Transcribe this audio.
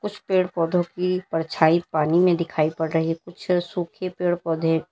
कुछ पेड़ पौधों की परछाई पानी में दिखाई पड़ रही कुछ सूखे पेड़ पौधे--